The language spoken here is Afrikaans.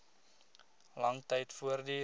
lang tyd voortduur